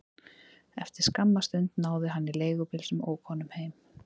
Eftir skamma stund náði hann í leigubíl sem ók honum heim.